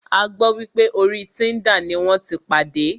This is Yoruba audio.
A gbọ́ wípé orí Tinder ní wọ́n tí pàdé.